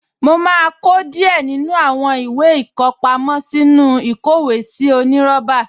Mo máa kó díẹ̀ nínú àwọn ìwé ìkọpámọ́ sínú ìkówèésí onírọ́bà